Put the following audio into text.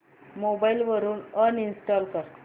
mobile वरून uninstall कर